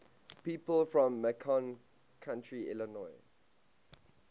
people from macon county illinois